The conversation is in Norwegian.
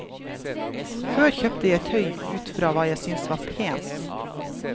Før kjøpte jeg tøy utfra hva jeg syntes var pent.